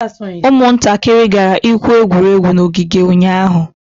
ụmụntakịrị gara igwu egwu n'ogige ụnyahụ